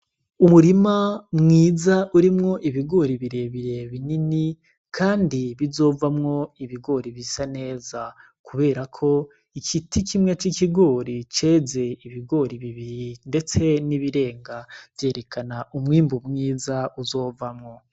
Umurima mwiza urimwo ibigori birebire binini, kandi bizovamwo ibigori bisa neza kuberako ikiti kimwe c'ikigori ceze ibigori bibiri, ndetse n'ibirenga vyerekana umwimbu mwiza uzovamwo.